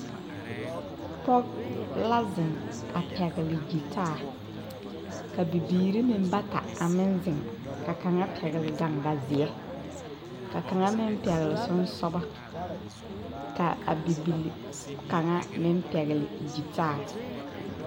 Pɔge la ziŋ a pɛgle gyitaa ka bibiiri meŋ bata a meŋ ziŋ ka kaŋa pɛgle gaŋga zeɛ ka kaŋa meŋ pɛgle siŋsɔgɔ ka a bibile kaŋa pɛgle gyitaa.